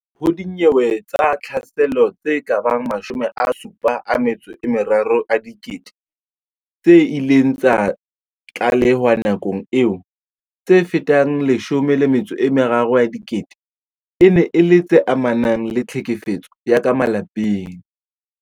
Ho dinyewe tsa tlhaselo tse kabang 73 000 tse ileng tsa tlalehwa nakong eo, tse fetang 13000 e ne e le tse amanang le tlhekefetso ya ka malapeng.